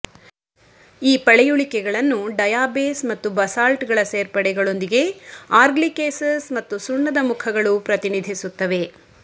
ಈ ಪಳೆಯುಳಿಕೆಗಳನ್ನು ಡಯಾಬೇಸ್ ಮತ್ತು ಬಸಾಲ್ಟ್ಗಳ ಸೇರ್ಪಡೆಗಳೊಂದಿಗೆ ಆರ್ಗ್ಲಿಕೇಸಸ್ ಮತ್ತು ಸುಣ್ಣದ ಮುಖಗಳು ಪ್ರತಿನಿಧಿಸುತ್ತವೆ